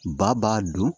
Ba b'a dun